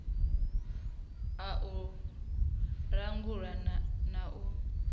a u langula na u